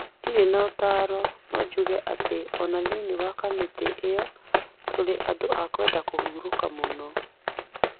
Ndirĩ na ũtaaro, no njuge atĩ o na thĩinĩ wa kamĩtĩ ĩno, tũrĩ andũ a kwenda rũruka mũno.